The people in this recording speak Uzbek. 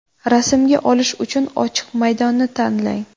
Rasmga olish uchun ochiq maydonni tanlang.